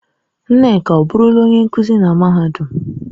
Nneka ọ burula onye nkuzi na mahadum?